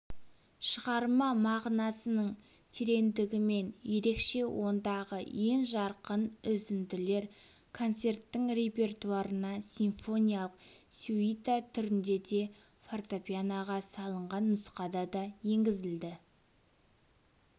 шығарма мағынасының тереңдігімен ерекше ондағы ең жарқын үзінділер концерттің репертуарына симфониялық сюита түрінде де фортепианоға салынған нұсқада да енгізілді